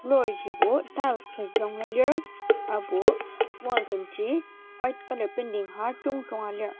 floor jibo tiles agi yanglua lir aserbo wall temji white colour painting har jungjunga lir.